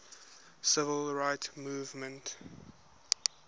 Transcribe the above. civil rights movement